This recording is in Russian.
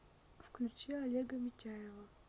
включи олега митяева